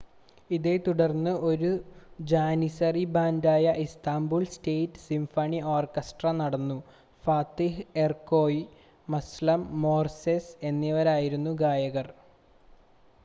ഇതേത്തുടർന്ന് ഒരു ജാനിസറി ബാൻഡായ ഇസ്താംബുൾ സ്റ്റേറ്റ് സിംഫണി ഓർക്കസ്ട്ര നടന്നു ഫാത്തിഹ് എർക്കോയ് മസ്ലം ഗോർസെസ് എന്നിവരായിരുന്നു ഗായകർ